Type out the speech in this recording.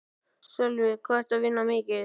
Sölvi: Hvað ertu að vinna mikið?